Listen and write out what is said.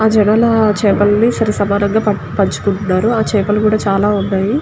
ఆ చెరువులో చేపలని సరిసమానంగా పంచుకుంటున్నారు ఆ చేపలు కూడా చాలా ఉన్నాయి.